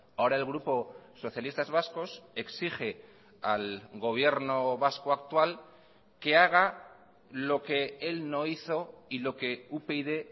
ahora el grupo socialistas vascos exige al gobierno vasco actual que haga lo que el no hizo y lo que upyd